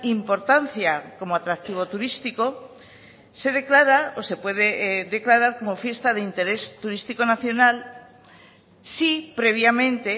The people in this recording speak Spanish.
importancia como atractivo turístico se declara o se puede declarar como fiesta de interés turístico nacional si previamente